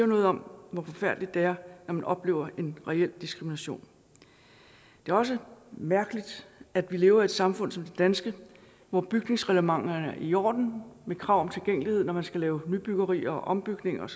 noget om hvor forfærdeligt det er når man oplever en reel diskrimination det er også mærkeligt at vi lever i et samfund som det danske hvor bygningsreglementer er i orden med krav om tilgængelighed når man skal lave nybyggerier og ombygninger